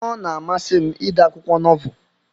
Ọna amasi m ide akwụkwọ nọvel.